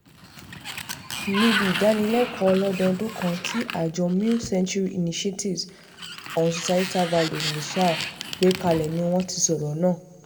níbi ìdánilẹ́kọ̀ọ́ ọlọ́dọdún kan tí àjọ mil century initiatives on societal values missasl gbé kalẹ̀ ni wọ́n ti sọ̀rọ̀ náà